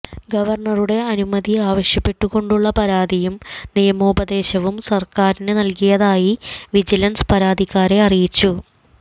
ഗവർണറുടെ അനുമതി ആവശ്യപ്പെട്ടുകൊണ്ടുള്ള പരാതിയും നിയമോപദേശവും സർക്കാരിന് നൽകിയതായി വിജിലൻസ് പരാതിക്കാരെ അറിയിച്ചു